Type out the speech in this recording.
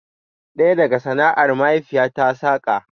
Ɗaya daga sana'ar mahaifiyarta saƙa